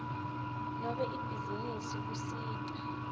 nobe ibhizinisi kusita